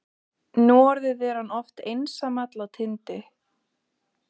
Núorðið er hann oft einsamall á tindi